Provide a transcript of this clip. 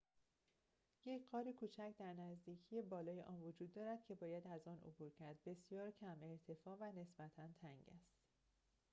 یک غار کوچک در نزدیکی بالای آن وجود دارد که باید از آن عبور کرد بسیار کم ارتفاع و نسبتا تنگ است